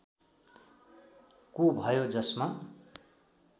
को भयो जसमा